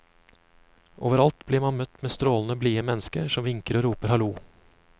Overalt blir man møtt av strålende blide mennesker, som vinker og roper hallo.